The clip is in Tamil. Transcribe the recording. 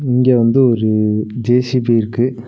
இங்க வந்து ஒரு ஜே_சி_பி இருக்கு.